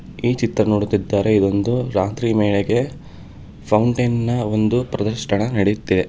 ಈ ಚಿತ್ರ ನೋಡುತ್ತಿದ್ದಾರೆ ಇದೊಂದು ರಾತ್ರಿ ವೇಳೆಗೆ ಫೌಂಟೇನ್ ನ ಒಂದು ಪ್ರದರ್ಶನ ನಡೆಯುತ್ತಿದೆ.